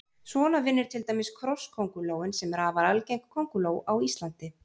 Svona vinnur til dæmis krosskóngulóin sem er afar algeng kónguló á Íslandi.